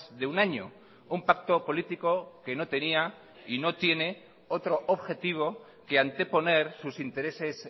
de un año un pacto político que no tenía y no tiene otro objetivo que anteponer sus intereses